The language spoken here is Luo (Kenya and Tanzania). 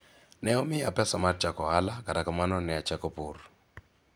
ne omiya pesa mar chako ohala kata kamano ne achako pur